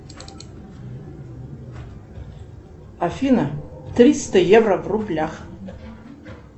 афина триста евро в рублях